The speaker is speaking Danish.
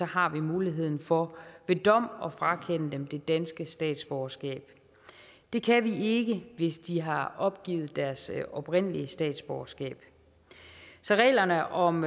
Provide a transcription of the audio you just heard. har vi muligheden for ved dom at frakende dem det danske statsborgerskab det kan vi ikke hvis de har opgivet deres oprindelige statsborgerskab så reglerne om